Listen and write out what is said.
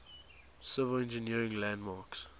civil engineering landmarks